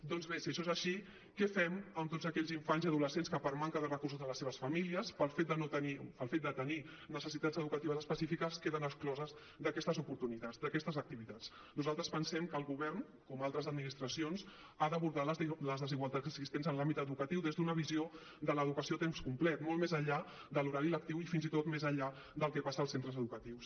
doncs bé si això és així què fem amb tots aquells infants i adolescents que per manca de recursos de les seves famílies pel fet de tenir necessitats educatives específiques queden excloses d’aquestes oportunitats d’aquestes activitats nosaltres pensem que el govern com altres administracions ha d’abordar les desigualtats existents en l’àmbit educatiu des d’una visió de l’educació a temps complet molt més enllà de l’horari lectiu i fins i tot més enllà del que passa als centres educatius